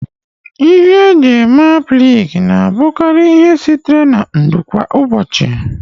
Ihe e ji eme aplịk na-abụkarị ihe sitere na ndụ kwa ụbọchị